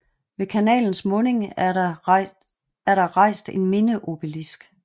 Ved kanalens munding er der rejst en mindeeobelisk